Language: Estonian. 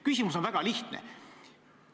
Küsimus on väga lihtne.